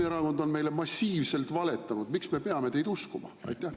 … kui Reformierakond on meile massiivselt valetanud, miks me peame teid uskuma?